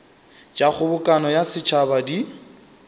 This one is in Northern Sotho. tša kgobokano ya setšhaba di